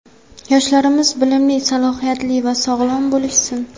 Yoshlarimiz bilimli, salohiyatli va sog‘lom bo‘lishsin.